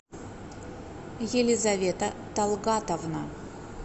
елизавета талгатовна